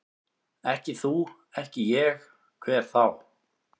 Ekki þú, ekki ég, hver þá?